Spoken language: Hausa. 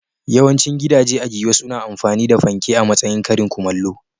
Yawancin gidaje a Giwa suna amfani da fanke a matsayin karin kumallo.